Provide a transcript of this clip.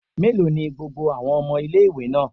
Mélòó ni gbogbo àwọn ọmọ ilé-ìwé náà?